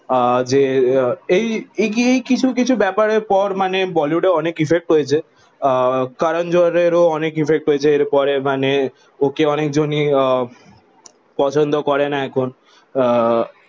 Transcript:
আহ যে এই কিছু কিছু ব্যাপারে পর মানে বলিউডের অনেক ইফেক্ট হয়েছে আহ কারণ জোহরের ও অনেক ইফেক্ট হয়েছে মানে ওকে অনেক জন ই আহ পছন্দ করেন এখন আহ